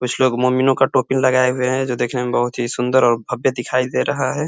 कुछ लोग मोमिनों का टोपी लागए हुए हैं जो देखने मे बहुत ही सुन्दर और भव्य दिखाई दे रहा है।